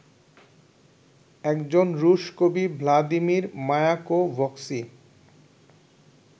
একজন রুশ কবি ভ্লাদিমির মায়াকোভস্কি